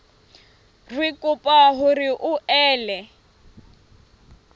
re kopa hore o ele